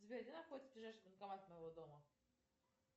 сбер где находится ближайший банкомат у моего дома